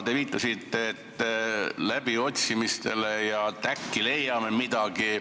Te viitasite läbiotsimistele ja sellele, et äkki leitakse midagi.